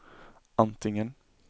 antingen